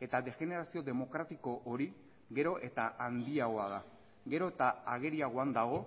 eta degenerazio demokratiko hori gero eta handiagoa da gero eta ageriagoan dago